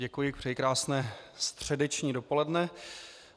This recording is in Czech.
Děkuji, přeji krásné středeční dopoledne.